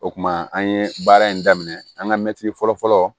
O kuma an ye baara in daminɛ an ka mɛtiri fɔlɔ fɔlɔ